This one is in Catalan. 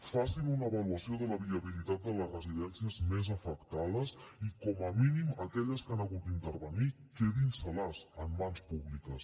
facin una avaluació de la viabilitat de les residències més afectades i com a mínim aquelles que han hagut d’intervenir quedin se les en mans públiques